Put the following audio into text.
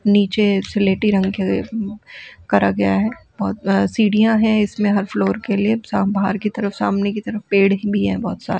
नीचे सिलेटी रंग किया गया है करा गया है सीढ़ियां है इसमें हर फ्लोर के लिए बाहर की तरफ सामने की तरफ पेड़ भी है बहुत सारे |